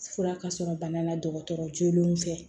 Fura ka sɔrɔ bana la dɔgɔtɔrɔ jolenw fɛ